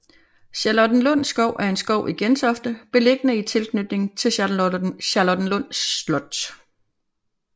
Charlottenlund Skov er en skov i Gentofte beliggende i tilknytning til Charlottenlund Slot